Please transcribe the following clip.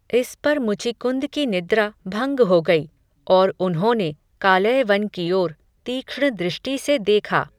इस पर मुचिकुन्द की निद्रा, भंग हो गई, और उन्होने कालयवन की ओर, तीक्ष्ण दृष्टि से देखा